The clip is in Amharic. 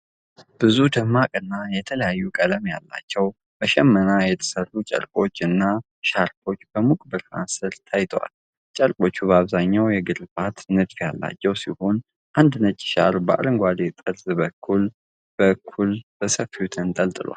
ብዙ ደማቅና የተለያየ ቀለም ያላቸው፣ በሽመና የተሠሩ ጨርቆች እና ሻርፖች በሙቅ ብርሃን ሥር ታይተዋል። ጨርቆቹ በአብዛኛው የግርፋት (stripe) ንድፍ ያላቸው ሲሆን፣ አንዱ ነጭ ሻርፕ በአረንጓዴ ጠርዝ በግራ በኩል በሰፊው ተንጠልጥሏል።